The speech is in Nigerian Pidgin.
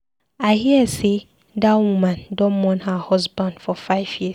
I hear sey dat woman don mourn her husband for five years.